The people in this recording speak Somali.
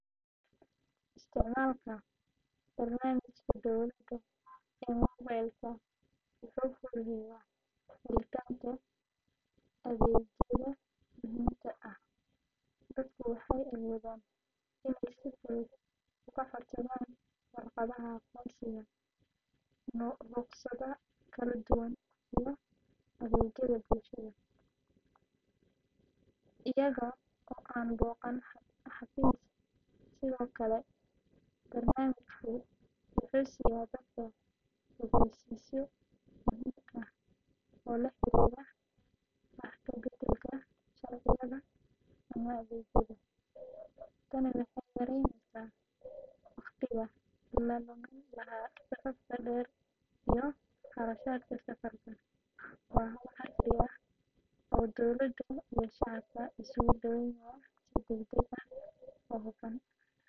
Haa, waxaan isticmaashay dhowr jeer, waana barnaamij aad u faa’iido badan oo ku habboon dadka jecel inay sahamiyaan magaalooyinka kala duwan iyo goobaha dalxiiska ee kenya iyo meelo kale oo Afrika ah. App-kan wuxuu bixiyaa macluumaad faahfaahsan oo ku saabsan meelo badan sida hoteelada, maqaayadaha, goobaha taariikhiga ah, iyo madadaalada, taasoo ka caawisa dadka inay si fudud u qorsheeyaan safarradooda. Waxa uu leeyahay si fudud oo sahlan in la isticmaalo, taas oo qof kasta oo isticmaala ka dhigaysa mid si dhakhso ah.